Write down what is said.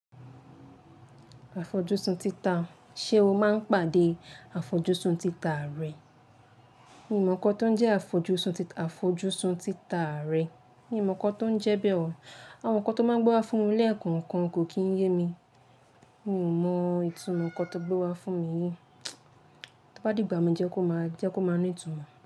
Àfojúsùn títà, ṣe o máa ń pàdé àfojúsùn títà rẹ? Mi ò mọ̀ nǹkan tó ń jẹ́ àfojúsùn títà rẹ. Mi ò mọ̀ nǹkan tó ń jẹ bẹ́ẹ̀ oo. Àwọn nǹkan tó máa gbọ́ wá fún mi lẹ́ẹ̀kan kan kò kí ń yé mi. Mi ò mọ ìtumọ̀ nǹkan tó gbé wá fún mi yìí. Tí ó bá dìgbà mí jẹ́ kó máa ní ìtumọ̀.